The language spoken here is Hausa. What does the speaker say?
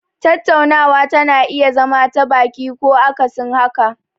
Tattaunawa tana iya zama ta baki ko akasin haka.